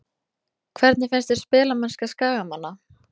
Hvernig finnst þér spilamennska Skagamanna?